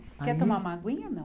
Quer tomar uma aguinha ou não?